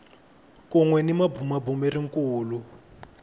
kun we ni mabumabumeri kulu